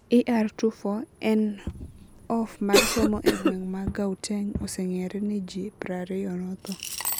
ER24 en of mar somo e gweng ma Gauteng osengere ni jii prariiyo nothoo